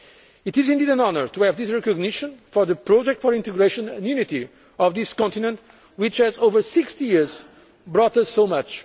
Union. It is indeed an honour to have this recognition for the project for integration and unity of this continent which has, over 60 years, brought